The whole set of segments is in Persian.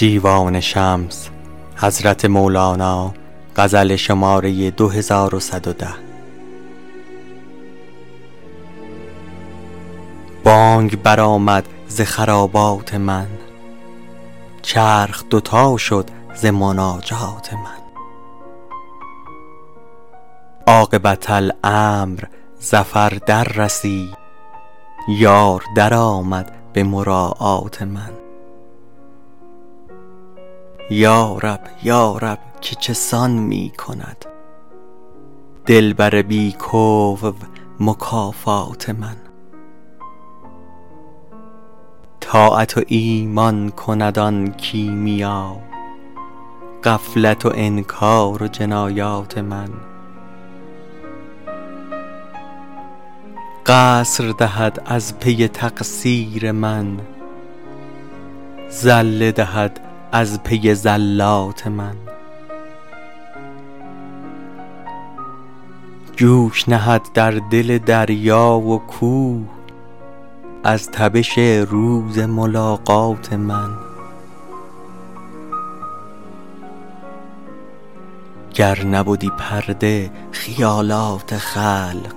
بانگ برآمد ز خرابات من چرخ دوتا شد ز مناجات من عاقبت امر ظفر دررسید یار درآمد به مراعات من یا رب یا رب که چه سان می کند دلبر بی کفو مکافات من طاعت و ایمان کند آن کیمیا غفلت و انکار و جنایات من قصر دهد از پی تقصیر من زله دهد از پی زلات من جوش نهد در دل دریا و کوه از تبش روز ملاقات من گر نبدی پرده خیالات خلق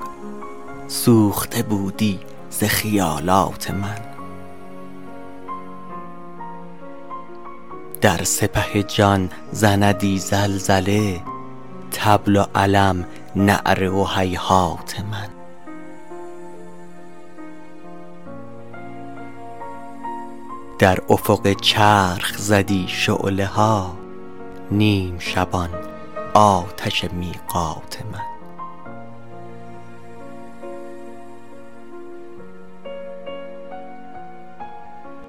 سوخته بودی ز خیالات من در سپه جان زندی زلزله طبل و علم نعره و هیهات من در افق چرخ زدی شعله ها نیم شبان آتش میقات من